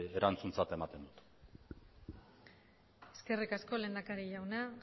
erantzuntzat ematen dut eskerrik asko lehendakari jauna